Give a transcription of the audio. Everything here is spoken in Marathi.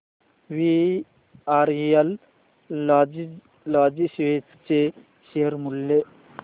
वीआरएल लॉजिस्टिक्स चे शेअर मूल्य